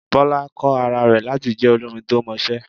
Bọ́lá kọ́ ara rẹ̀ láti jẹ olórin to mọṣẹ́.